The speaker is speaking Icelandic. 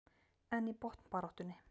En í botnbaráttunni?